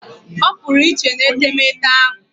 Opuru iche n'etemeete ahu